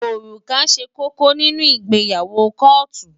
Òrùka ṣe kókó nínú ìgbéyàwó kóòtù.